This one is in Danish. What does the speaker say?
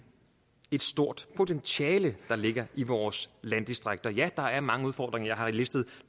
et stort potentiale der ligger i vores landdistrikter ja der er mange udfordringer og jeg har listet